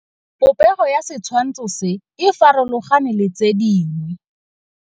Popêgo ya setshwantshô se, e farologane le tse dingwe.